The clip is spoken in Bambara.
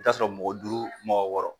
I bi t'a sɔrɔ mɔgɔ duuru mɔgɔ wɔɔrɔ